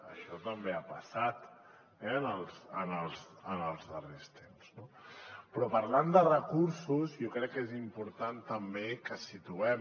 això també ha passat en els darrers temps no però parlant de recursos jo crec que és important també que situem